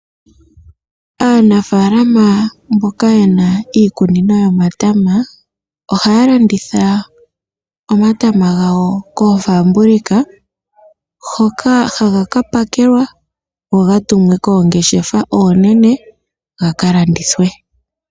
Aanafaalama mboka yena iikunino yomatama. Ohaya landitha omatama gawo koofaabulika hoka haga ka pakelwa go ga tumwe koongeshefa oonene gaka landithwe.